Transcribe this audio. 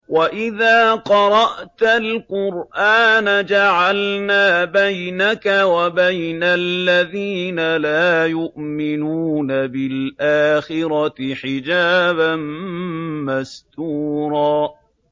وَإِذَا قَرَأْتَ الْقُرْآنَ جَعَلْنَا بَيْنَكَ وَبَيْنَ الَّذِينَ لَا يُؤْمِنُونَ بِالْآخِرَةِ حِجَابًا مَّسْتُورًا